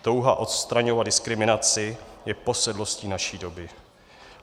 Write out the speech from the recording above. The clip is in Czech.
Touha odstraňovat diskriminaci je posedlostí naší doby.